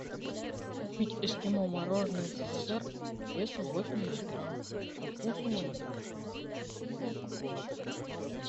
купить эскимо мороженое ссср весом восемьдесят грамм со вкусом ванили